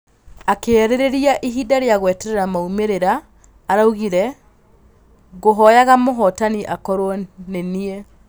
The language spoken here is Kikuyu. Akĩarĩrĩria ihinda rĩa gweterera maumĩrĩra araugire: "Ngũhoyaga mũhotani akorwo nĩniĩ.